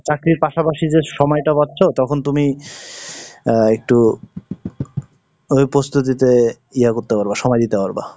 চাকরির পাশাপাশি যে সময়টা পাচ্ছো তখন তুমি, আহ একটু, ওই প্রস্তুতিতে ইয়ে করতে পারবা, সময় দিতে পারবা।